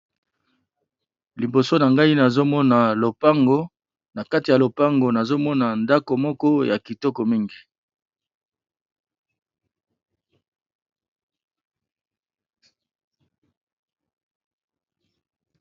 Liboso na ngai nazomona lopango na kati ya lopango nazomona ndako moko ya kitoko mingi